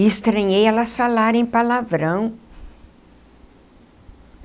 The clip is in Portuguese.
Estranhei elas falarem palavrão.